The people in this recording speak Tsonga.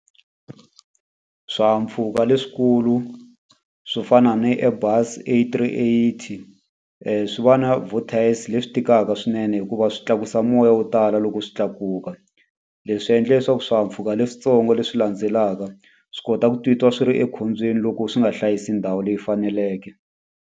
Swihahampfhuka leswikulu swo fana ni Airbus A three eighty, swi va na vortex-i leswi tikaka swinene hikuva swi tlakusa se moya wo tala loko swi tlakuka. Leswi swi endla leswaku swihahampfhuka leswitsongo leswi landzelaka, swi kota ku titwa swi ri ekhombyeni loko swi nga hlayisi ndhawu leyi faneleke.